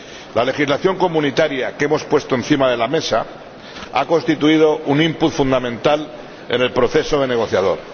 La legislación comunitaria que hemos puesto encima de la mesa ha constituido un input fundamental en el proceso negociador.